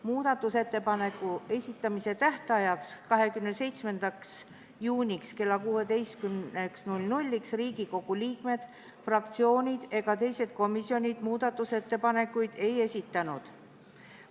Muudatusettepanekute esitamise tähtajaks, 27. juuniks kella 16-ks Riigikogu liikmed, fraktsioonid ega komisjonid muudatusettepanekuid ei esitanud.